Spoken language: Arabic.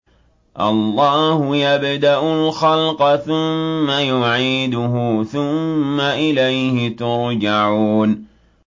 اللَّهُ يَبْدَأُ الْخَلْقَ ثُمَّ يُعِيدُهُ ثُمَّ إِلَيْهِ تُرْجَعُونَ